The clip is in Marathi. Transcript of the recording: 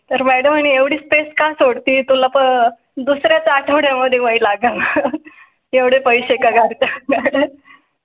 तर madam आणि एवढी स्पेस का सोडती तुला दुसर् याच आठवड्या मध्ये वी लागेल तेवढे पैसे काळात.